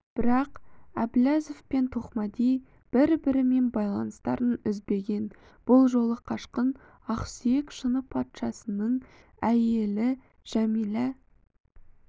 бірақ әбіләзов пен тоқмәди бір-бірімен байланыстарын үзбеген бұл жолы қашқын ақсүйек шыны патшасының әйелі жәмилә